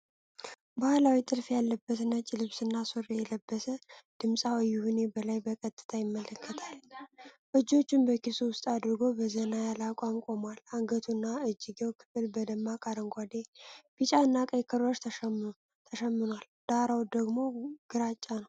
ባህላዊ ጥልፍ ያለበት ነጭ ልብስና ሱሪ የለበሰ ድምጻዊ ይሁኔ በላይ በቀጥታ ይመለከታል። እጆቹን በኪሱ ውስጥ አድርጎ በዘና ያለ አቋም ቆሟል። የአንገቱና የእጅጌው ክፍል በደማቅ አረንጓዴ፣ ቢጫና ቀይ ክሮች ተሸምኗል፣ ዳራው ደግሞ ግራጫ ነው።